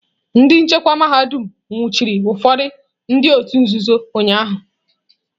Ndị nchekwa mahadum nwụchiri ụfọdụ ndị òtù nzuzo ụnyahụ.